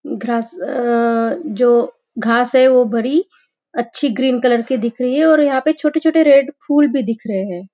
Grass अ जो घास है वो बड़ी अच्छी ग्रीन की कलर की दिख रही है और यहाँ पे छोटे छोटे रेड फूल भी दिख रहे हैं।